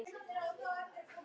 Og ertu búin að því?